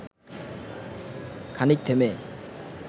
খানিক থেমে